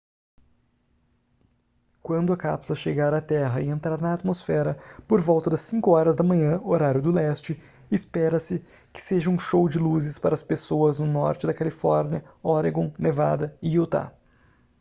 quando a cápsula chegar à terra e entrar na atmosfera por volta das 5 horas da manhã horário do leste espera-se que seja um show de luzes para as pessoas no norte da califórnia oregon nevada e utah